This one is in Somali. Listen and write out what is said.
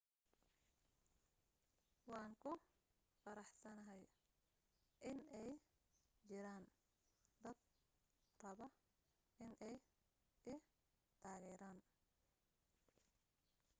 waan ku faraxsanahay inay jiraan dad raba inay i taageeraan